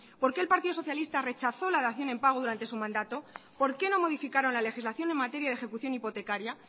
por qué el partido socialista rechazó la dación en pago durante su mandato por qué no modificaron la legislación en materia de ejecución hipotecaria